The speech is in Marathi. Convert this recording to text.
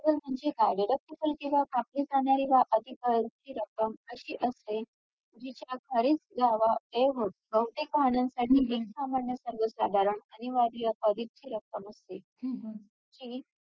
burger मध्ये काय प्रक्रिया काय असते बनवायची प्रक्रिया non veg बर~